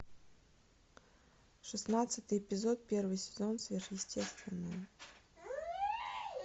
шестнадцатый эпизод первый сезон сверхъестественное